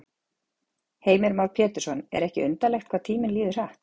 Heimir Már Pétursson: Er ekki undarlegt hvað tíminn líður hratt?